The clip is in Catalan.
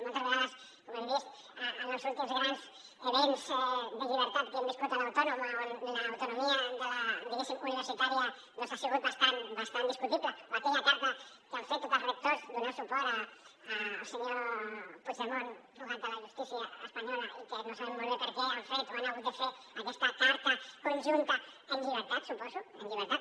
moltes vegades com hem vist en els últims grans esdeveniments de llibertat que hem viscut a l’autònoma on l’autonomia diguéssim universitària doncs ha sigut bastant discutible o aquella carta que han fet tots els rectors donant suport al senyor puigdemont fugat de la justícia espanyola i que no sabem molt bé per què han fet o han hagut de fer aquesta carta conjunta en llibertat suposo en llibertat